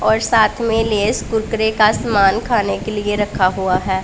और साथ में लेस कुरकुरे का समान खाने के लिए रखा हुआ है।